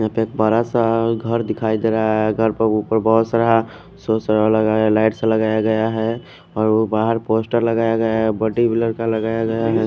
यहा पे एक बरा सा घर दिखाई देरा है घर के उपर बहोत सारा सोर सा लगाया गया लाइट सा लगाया गया है और बहर पोस्टर लगाया गया है बड़ी विलर का लगाया गया है।